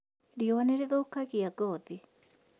Riũa nĩrĩthũkagia ngothi